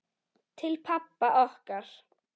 Til pabba okkar.